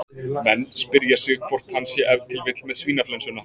Menn spyrja sig hvort hann sé ef til vill með svínaflensuna?